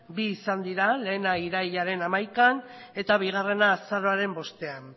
bi izan dira lehena irailaren hamaikaan eta bigarrena azaroaren bostean